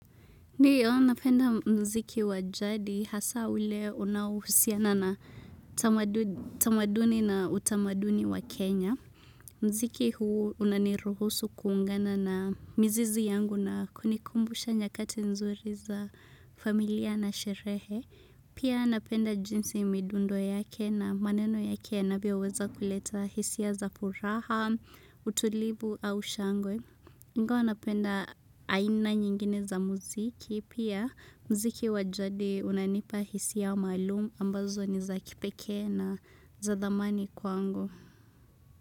Ndiyo, napenda muziki wa jadi hasa ule unaohusiana na tamaduni na utamaduni wa Kenya. Muziki huu unaniruhusu kuungana na mizizi yangu na kunikumbusha nyakati nzuri za familia na sherehe. Pia napenda jinsi midundo yake na maneno yake yanavyoweza kuleta hisia za furaha, utulivu au shangwe. Ingawa napenda aina nyingine za muziki pia muziki wa jadi unanipa hisia maalum ambazo ni za kipekee na za dhamani kwangu.